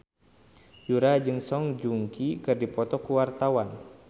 Yura jeung Song Joong Ki keur dipoto ku wartawan